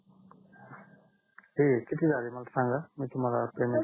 किती झाला आहे किती झाले मला सांगा मग ते मला पेमेंट